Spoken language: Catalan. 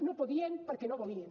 no podien perquè no volien